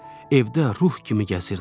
Evdə ruh kimi gəzirdi.